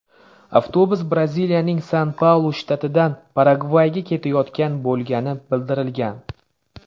Avtobus Braziliyaning San-Paulu shtatidan Paragvayga ketayotgan bo‘lgani bildirilgan.